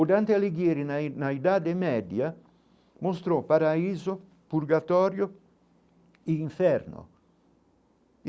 O Dante Alighieri, na i na idade média, mostrou paraíso purgatório e inferno.